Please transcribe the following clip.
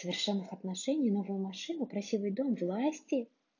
совершенных отношений новую машину красивый дом власти